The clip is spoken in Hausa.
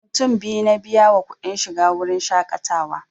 Mutum biyu na biya wa kuɗin shiga wurin shaƙatawa